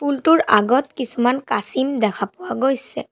পুল টোৰ আগত কিছুমান কাছিম দেখা পোৱা গৈছে।